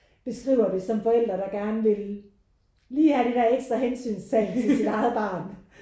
Beskriver det som forældre der gerne vil lige have det der ekstra hensynstagen til sit eget barn